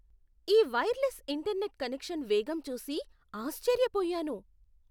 ఈ wireless internet connection వేగం చూసి ఆశ్చర్యపోయాను.